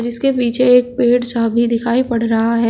जीसके पीछे एक पेड़ सा भी दिखाई पड़ रहा है।